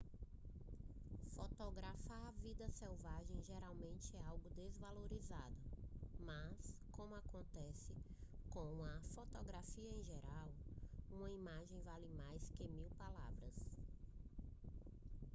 fotografar vida selvagem geralmente é algo desvalorizado mas como acontece com a fotografia em geral uma imagem vale mais que mil palavras